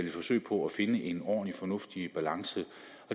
et forsøg på at finde en ordentlig fornuftig balance balance